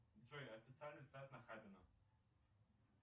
джой официальный сайт нахабино